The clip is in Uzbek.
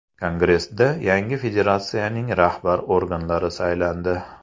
Kongressda yangi federatsiyaning rahbar organlari saylandi.